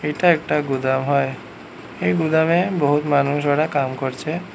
এটা একটা গুদাম হয় এই গুদামে বহুৎ মানুষ ওরা কাম করছে।